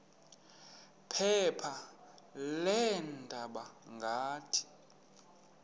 phepha leendaba ngathi